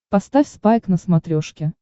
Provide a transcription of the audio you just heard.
поставь спайк на смотрешке